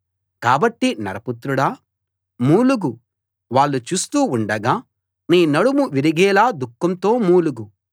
కాబట్టి నరపుత్రుడా మూలుగు వాళ్ళు చూస్తూ ఉండగా నీ నడుము విరిగేలా దుఃఖంతో మూలుగు